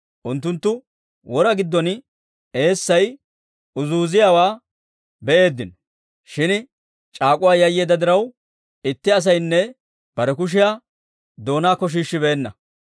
Unttunttu wora giddon eessay goggiyaawaa be'eeddino; shin c'aak'uwaa yayyeedda diraw, itti asaynne bare kushiyaa doonaakko shiishshibeenna.